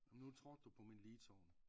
Men nu trådte du på min ligtorn